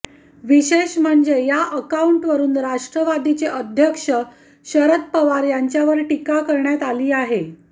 विशेष म्हणजे या अकाऊंटवरुन राष्ट्रवादीचे अध्यक्ष शरद पवार यांच्यावर टीका करण्यात आली आहे